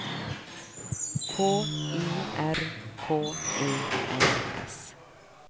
K I R K E N S